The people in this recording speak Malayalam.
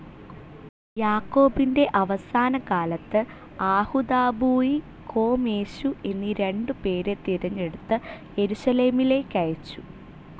യാക്കോബിന്റെ അവസാനകാലത്തു് ആഹുദാബൂയി, കോംയേശു എന്നീ രണ്ടു പേരെ തിരഞ്ഞെടുത്തു് യേരുശലെമിലേക്കയച്ചു.